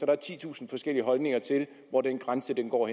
er titusind forskellige holdninger til hvor den grænse går